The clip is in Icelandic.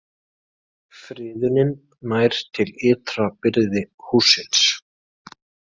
Friðunin nær til ytra byrðis hússins